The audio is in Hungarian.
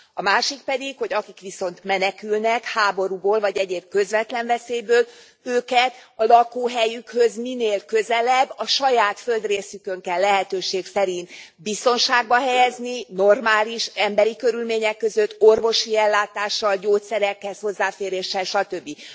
A másik pedig, hogy akik viszont menekülnek, háborúból vagy egyéb közvetlen veszélyből, őket a lakóhelyükhöz minél közelebb, a saját földrészükön kell lehetőség szerint biztonságba helyezni, normális emberi körülmények között, orvosi ellátással, gyógyszerekhez hozzáféréssel, satöbbi.